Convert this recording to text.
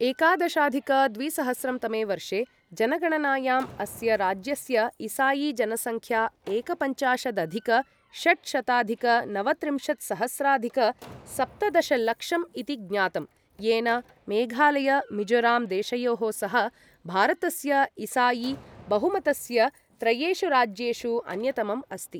एकादशाधिक द्विसहस्रं तमे वर्षे जनगणनायाम् अस्य राज्यस्य ईसाईजनसंख्या एकपञ्चाशदधिक षट्शताधिक नवत्रिंशत्सहस्राधिक सप्तदशलक्षं इति ज्ञातम्, येन मेघालय मिजोराम देशयोः सह भारतस्य ईसाई बहुमतस्य त्रयेषु राज्येषु अन्यतमम् अस्ति ।